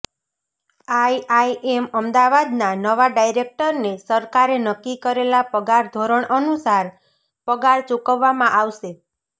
IIM અમદાવાદના નવા ડાયરેક્ટરને સરકારે નક્કી કરેલા પગાર ધોરણ અનુસાર પગાર ચૂકવવામાં આવશે